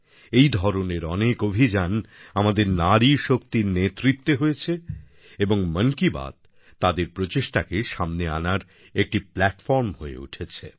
এই ধরনের অনেক অভিযান আমাদের নারী শক্তির নেতৃত্বে হয়েছে এবং মন কি বাত তাদের প্রচেষ্টাকে সামনে আনার একটি প্ল্যাটফর্ম হয়ে উঠেছে